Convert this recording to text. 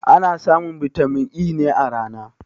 Ana samun bitamin E ne a rana